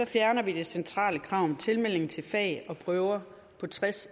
fjerner vi det centrale krav om tilmelding til fag og prøver på tres